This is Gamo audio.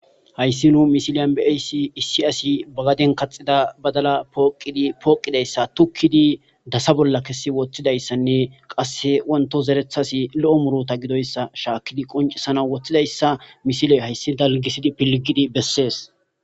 Hayssi nu misiliyan beeyssi issi asi bagaden kaxida badala pooqidi pooqidayssa tukkidi dasa bolla kesi woththidayssanne qasse wonto zerethasi lo'o murota gidoyssa shaakkidi qoncisana woththidayssa misiley hayssi dalgisidi pilgidi bessees